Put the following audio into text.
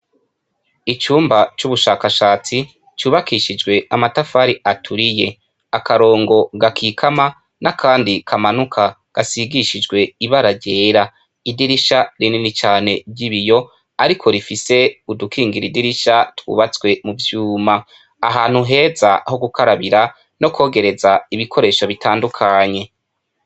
Icumba c' ubushakashatsi cubakishijw' amatafar' aturiye, akarongo gakikama n' akandi kamanuka gasigishijw' ibara ryera, idirisha rinini cane ryibiy' ariko rifis' udukingir' idirisha twubatse mu vyuma, ahantu heza hugukarabira n'ukogerez' ibintu bitandukanye.